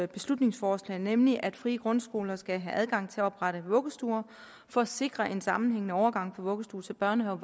beslutningsforslag nemlig at frie grundskoler skal have adgang til at oprette vuggestuer for at sikre en sammenhængende overgang fra vuggestue til børnehave